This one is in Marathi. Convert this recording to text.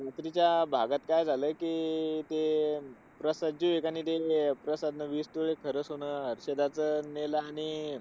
दुसऱ्या त्या भागात काय झालं, कि अह ते अह प्रसाद जे एकाने दिलेलं, प्रसादने वीस तोळ खरं सोनं हर्षदाचं नेलं आणि,